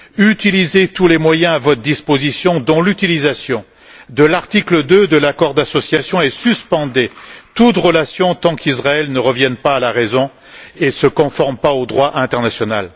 Utilisez tous les moyens à votre disposition, dont l'utilisation de l'article 2 de l'accord d'association, et suspendez toute relation tant qu'Israël ne revient pas à la raison et ne se conforme pas au droit international.